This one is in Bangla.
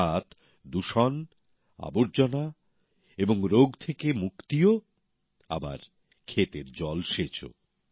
অর্থাৎ দূষণ আবর্জনা এবং রোগ থেকে মুক্তিও হচ্ছে আবার ক্ষেতের জলসেচও